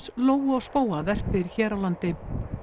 lóu og spóa verpir hér á landi